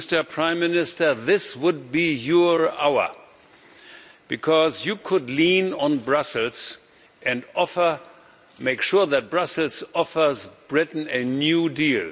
Mr Prime Minister, this would be your hour because you could lean on Brussels and make sure that Brussels offers Britain a new deal.